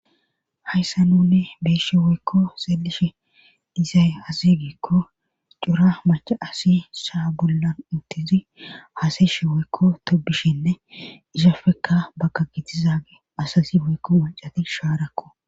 hayssa nune be'ishe woykko seelishi dizay azigeekko cura maca asi shaa bollan untizi haasayshe weykko tobishinne ishafekka bagka gitizage asazi woykko wuncati shaarakko